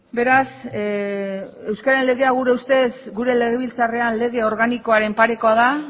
beraz euskararen legea gure ustez gure legebiltzarrean lege organikoaren parekoa da